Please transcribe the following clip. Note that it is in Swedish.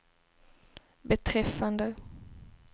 beträffande